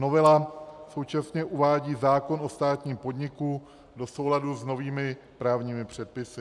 Novela současně uvádí zákon o státním podniku do souladu s novými právními předpisy.